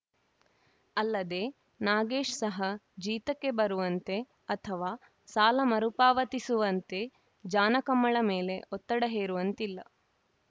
ಅಲ್ಲದೇ ನಾಗೇಶ್‌ ಸಹ ಜೀತಕ್ಕೆ ಬರುವಂತೆ ಅಥವಾ ಸಾಲ ಮರುಪಾವತಿಸುವಂತೆ ಜಾನಕಮ್ಮಳ ಮೇಲೆ ಒತ್ತಡ ಹೇರುವಂತಿಲ್ಲ